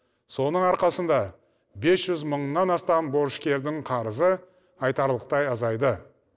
соның арқасында бес жүз мыңнан астам борышкердің қарызы айтарлықтай азайды